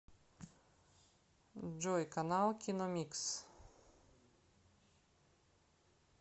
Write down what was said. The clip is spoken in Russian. джой канал киномикс